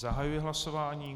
Zahajuji hlasování.